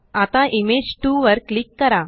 आता इमेज 2 वर क्लिक करा